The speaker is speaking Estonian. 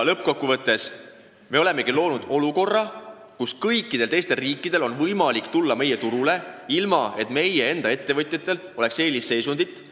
Lõppkokkuvõttes me oleme loonud olukorra, kus kõikide teiste riikide ettevõtjatel on võimalik tulla meie turule, ilma et meie enda ettevõtjatel oleks eelisseisundit.